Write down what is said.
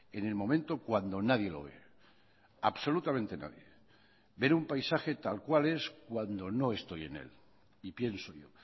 en el momento cuando nadie lo ve absolutamente nadie ver un paisaje tal cual es cuando no estoy en él y pienso yo